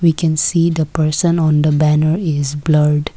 we can see the person on the banner is blurred.